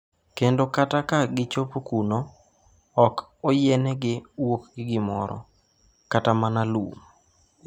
Kendo kata ka gichopo kuno, ok oyienegi wuok gi gimoro, kata mana lum.